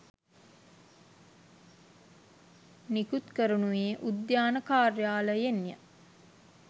නිකුත් කරනුයේ උද්‍යාන කාර්යාලයෙන්ය